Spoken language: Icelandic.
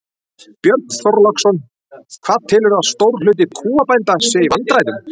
Björn Þorláksson: Hvað telurðu að stór hluti kúabænda sé í vandræðum?